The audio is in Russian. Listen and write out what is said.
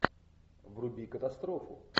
вруби катастрофу